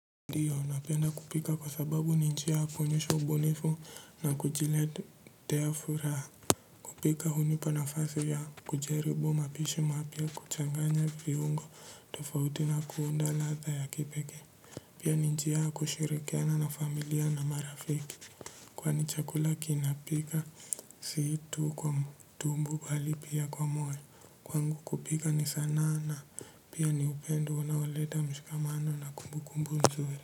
Ndiyo, napenda kupika kwa sababu ni njia ya kuonyesha ubunifu na kujiletea furaha. Kupika hunipa nafasi ya kujaribu mapishi mapya kuchanganya viungo tofauti na kuunda ladha ya kipeke. Pia ni njia ya kushirikiana na familia na marafiki. Kwani chakula kinapika si tu kwa tumbo bali pia kwa moyo. Kwangu kupika ni sanaa na pia ni upendo unaoleta mshikamano na kumbu kumbu nzuri.